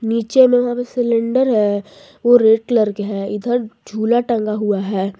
नीचे में वहां पे सिलेंडर है वो रेड कलर के है इधर झूला टंगा हुआ है।